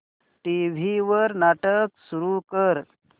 TV वर नाटक सुरू कर